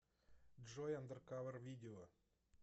джой андэркавэр видео